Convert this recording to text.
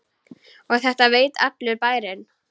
Og þetta veit allur bærinn?